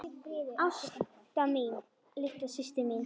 Ásta mín, litla systir mín.